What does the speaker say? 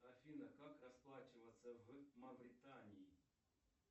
афина как расплачиваться в мавритании